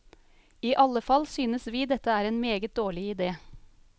I alle fall synes vi dette er en meget dårlig idé.